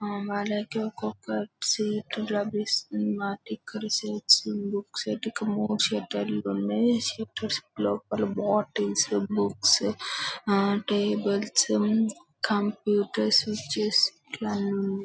అ వాళ్లకి ఒక్కక్క ఒక సీట్ లభిస్తుంది అన్నమాట ఇక్కడ సీట్స్ బుక్స్ కు మూడు సెట్టర్ లు ఉన్నాయ్ సెట్టర్ లోపల బాటిల్స్ బుక్స్ ఆ టేబుల్స్ కంప్యూటర్స్ స్విచ్ ఇట్లా అన్నీ ఉన్నాయ్ .